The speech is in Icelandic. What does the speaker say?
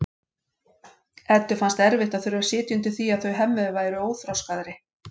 Eddu fannst erfitt að þurfa að sitja undir því að þau Hemmi væru óþroskaðri